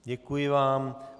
Děkuji vám.